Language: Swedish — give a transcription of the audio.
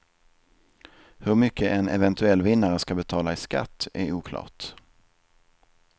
Hur mycket en eventuell vinnare ska betala i skatt är oklart.